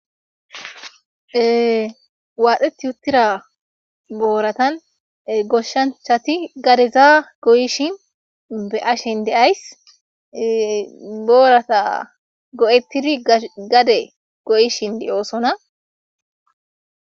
waadhdheti yuttira booratan goshshanchati gadezaa goyishin be ashen deays boorata go7ettidi gade goyishin de7oosona